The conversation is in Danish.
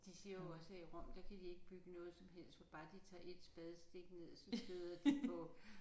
De siger jo også at i Rom der kan de ikke bygge noget som helst for bare de tager ét spadestik ned så støder de på